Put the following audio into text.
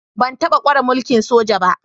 Ban taba kware mulki'n soja ba.